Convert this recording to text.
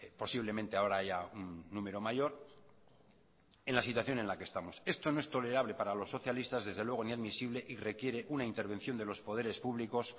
posiblemente ahora haya un número mayor en la situación en la que estamos esto no es tolerable para los socialistas desde luego ni admisible y requiere una intervención de los poderes públicos